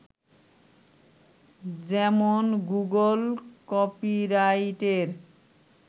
যেমন গুগল কপিরাইটের